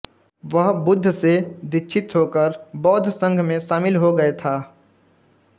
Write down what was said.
वह बुद्ध से दीक्षित होकर बौद्ध संघ में शामिल हो गये था